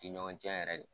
Ti ɲɔgɔn cɛ yɛrɛ de